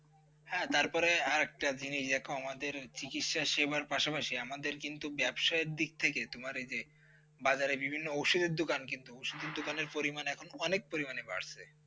হ্যাঁ, তারপরে হ্যাঁআরেকটা জিনিস দেখো আমাদের চিকিৎসা সেবার পাশাপাশি আমাদের কিন্তু ব্যবসার দিক থেকে তোমার এতে বাজারে বিভিন্ন ওষুধের দোকান কিন্তু ওষুধের দোকানের পরিমাণ এখন অনেক পরিমাণে বাড়ছে।